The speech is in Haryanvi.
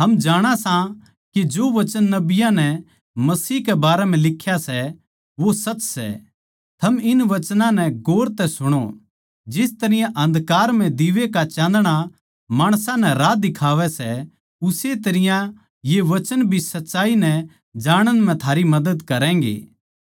हम जाणा सां के जो वचन नबियाँ नै मसीह के बारें म्ह लिख्या सै वो सच सै थम इन वचनां नै गौर तै सुणो जिस तरियां अन्धकार म्ह दीवै का चाँदणा माणसां नै राह दिखावै सै उस्से तरियां ये वचन भी सच्चाई नै जाणण म्ह थारी मदद करैंगें